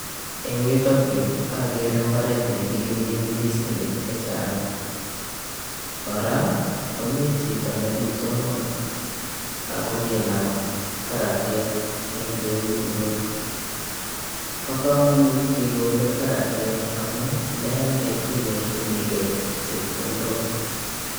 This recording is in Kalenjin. Eng'yuutok yu ageere mbaret nekikimit ndisinik chechang' kora komi hito nekitonoon akokinam karatiek ing' keut nyi, pa komonut kigoole karatiek amu ndealde inyorchinigei chepkondok